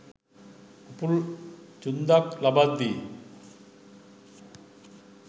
උපුල් ඡුන්දක් ලබද්දී